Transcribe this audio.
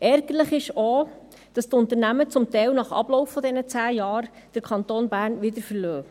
Ärgerlich ist auch, dass die Unternehmen zum Teil nach Ablauf der 10 Jahre den Kanton Bern verlassen.